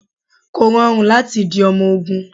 Kò rọrùn láti di ọmọ ogún.